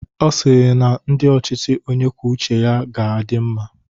Ọ sịrị na ndi ochịchị onye kwuo uche ya ga-adị mma.